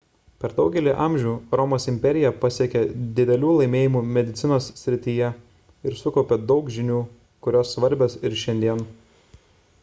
per daugelį amžių romos imperija pasiekė didelių laimėjimų medicinos srityje ir sukaupė daug žinių kurios svarbios ir šiandien